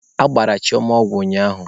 Agbara Chioma ọgwụ ụnyaahụ.